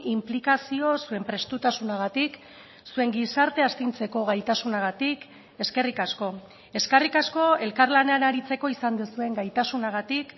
inplikazio zuen prestutasunagatik zuen gizartea astintzeko gaitasunagatik eskerrik asko eskerrik asko elkarlanean aritzeko izan duzuen gaitasunagatik